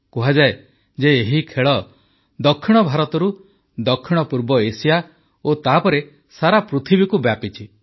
କୁହାଯାଏ ଯେ ଏହି ଖେଳ ଦକ୍ଷିଣ ଭାରତରୁ ଦକ୍ଷିଣପୂର୍ବ ଏସିଆ ଓ ତାପରେ ସାରା ପୃଥିବୀକୁ ବ୍ୟାପିଛି